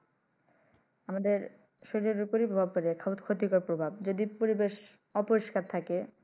আমাদের শরীরের উপর প্রভাব পরে যায় ক্ষতি কর প্রভাব যদি পরিবেশ অপরিষ্কার থাকে